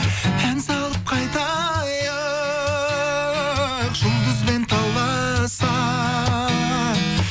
ән салып қайтайық жұлдызбен таласа